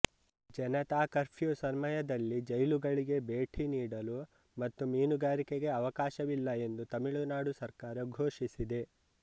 Janata curfew ಸಮಯದಲ್ಲಿ ಜೈಲುಗಳಿಗೆ ಭೇಟಿ ನೀಡಲು ಮತ್ತು ಮೀನುಗಾರಿಕೆಗೆ ಅವಕಾಶವಿಲ್ಲ ಎಂದು ತಮಿಳುನಾಡು ಸರ್ಕಾರ ಘೋಷಿಸಿದೆ